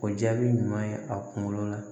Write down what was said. O jaabi ɲuman ye a kunkolo la